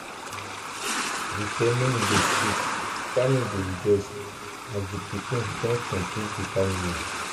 the ceremony dey sweet family dey rejoice as di pikin don complete the family.